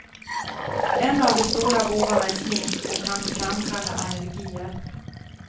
En av de stora bovarna i smink och kan framkalla allergier.